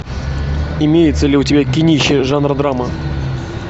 имеется ли у тебя кинище жанра драма